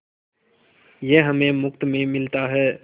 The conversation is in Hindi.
यह हमें मुफ्त में मिलता है